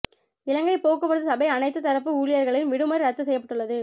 இலங்கை போக்குவரத்து சபை அனைத்து தரப்பு ஊழியர்களின் விடுமுறை இரத்து செய்யப்பட்டுள்ளது